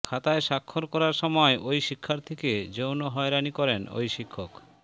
খাতায় স্বাক্ষর করার সময় ওই শিক্ষার্থীকে যৌন হয়রানি করেন ঐ শিক্ষক